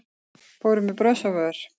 Fóru með bros á vör